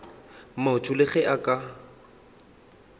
motho le ge a ka